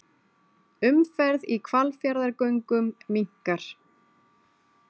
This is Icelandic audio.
Umferð í Hvalfjarðargöngum minnkar